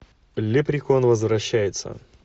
лепрекон возвращается